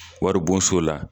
Wari bonso la